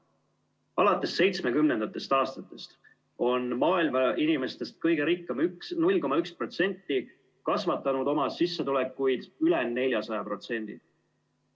Alates 1970. aastatest on maailma inimestest kõige rikkam 0,1% kasvatanud oma sissetulekuid üle 400%.